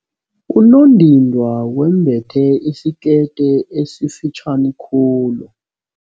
Unondindwa wembethe isikete esifitjhani khulu.